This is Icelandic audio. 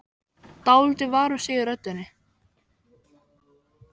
Dálítið var um sig í röddinni.